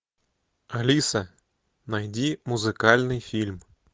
алиса найди музыкальный фильм